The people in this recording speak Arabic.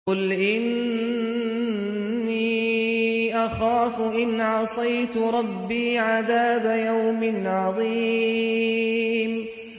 قُلْ إِنِّي أَخَافُ إِنْ عَصَيْتُ رَبِّي عَذَابَ يَوْمٍ عَظِيمٍ